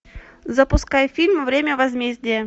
запускай фильм время возмездия